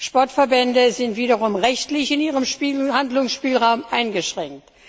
Sportverbände sind wiederum rechtlich in ihrem Handlungsspielraum eingeschränkt.